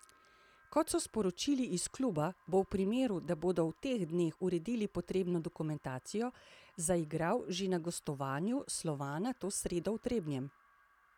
Kot so sporočili iz kluba, bo v primeru, da bodo v teh dneh uredili potrebno dokumentacijo, zaigral že na gostovanju Slovana to sredo v Trebnjem.